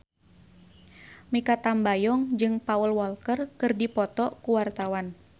Mikha Tambayong jeung Paul Walker keur dipoto ku wartawan